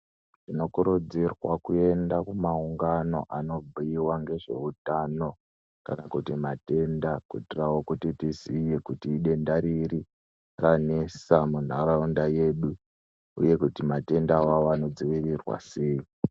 Tinokuridzirwa kuyenda kumaungano anobhuyiwa ngezveuthano kana kuthi mathenda kuitirawo kuti tiziye kuti idenda riri ranesa muntharaunda yedu uye kuti mathenda iwawo anodziwirirwa sei.